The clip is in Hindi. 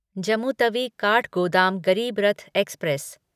जम्मू तवी काठगोदाम गरीबरथ एक्सप्रेस